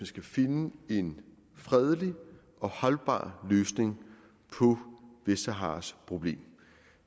skal finde en fredelig og holdbar løsning på vestsaharas problem